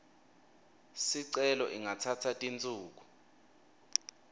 sicelo ingatsatsa tinsuku